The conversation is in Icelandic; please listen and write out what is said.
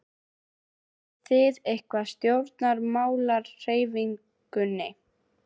Tengist þið einhverjum stjórnmálahreyfingum?